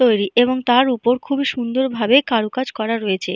তৈরি এবং তার ওপর খুবই সুন্দর ভাবে কারুকাজ করা রয়েছে।